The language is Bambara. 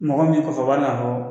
Mɔgɔ min i kɔfɛ o b'a dɔn ka fɔ